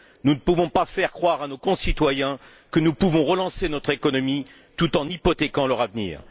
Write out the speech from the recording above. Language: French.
Nous ne pouvons pas faire croire à nos concitoyens que nous pouvons relancer notre économie tout en hypothéquant leur avenir.